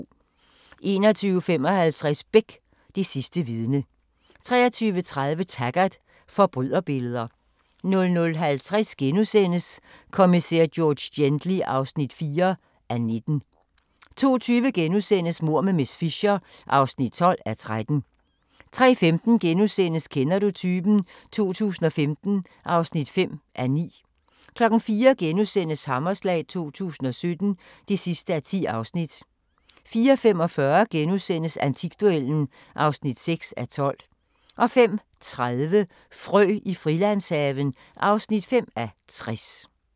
21:55: Beck – Det sidste vidne 23:30: Taggart: Forbryderbilleder 00:50: Kommissær George Gently (4:19)* 02:20: Mord med miss Fisher (12:13)* 03:15: Kender du typen? 2015 (5:9)* 04:00: Hammerslag 2017 (10:10)* 04:45: Antikduellen (6:12)* 05:30: Frø i Frilandshaven (5:60)